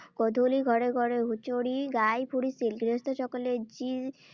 গধূলি ঘৰে ঘৰে হুঁচৰি গাই ফুৰিছিল। গৃহস্থসকলে যি